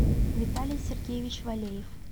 виталий сергеевич валеев